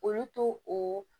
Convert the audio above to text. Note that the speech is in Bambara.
Olu to o